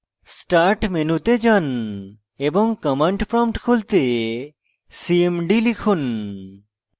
start মেনুতে যান এবং command prompt খুলতে cmd লিখুন